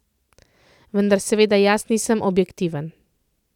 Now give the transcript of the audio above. Vendar seveda jaz nisem objektiven.